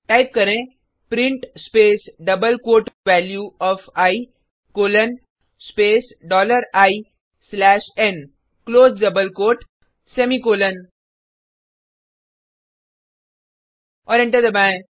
type करें print space double quote value O F I colon space dollar I slash N close double quote semicolon और enter दबाएँ